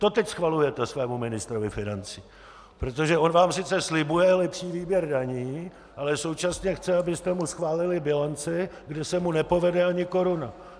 To teď schvalujete svému ministrovi financí, protože on vám sice slibuje lepší výběr daní, ale současně chce, abyste mu schválili bilanci, kde se mu nepovede ani koruna.